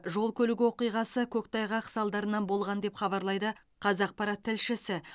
жол көлік оқиғасы көктайғақ салдарынан болған деп хабарлайды қазақпарат тілшісі